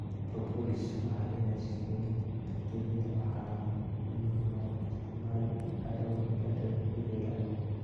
Propolis waxay leedahay sifooyin bakteeriyada waxaana loo isticmaalaa dawooyinka dabiiciga ah.